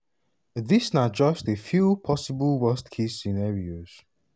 dis na just a few possible worst-case scenarios.